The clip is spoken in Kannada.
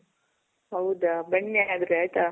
ಹೌದಾ? ಬನ್ನಿ ಹಾಗಾದ್ರೆ. ಆಯ್ತಾ?